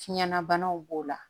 Fiɲɛna banaw b'o la